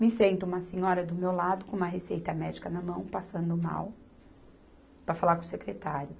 Me senta, uma senhora do meu lado, com uma receita médica na mão, passando mal, para falar com o secretário.